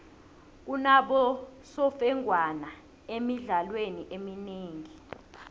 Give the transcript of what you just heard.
kunabosemfengwana emidlalweni eminengi